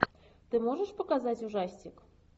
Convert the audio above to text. ты можешь показать ужастик